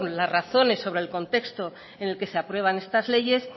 las razones sobre el contexto en el que se aprueban estas leyes